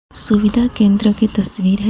सुविधा केंद्र की तस्वीर हैं.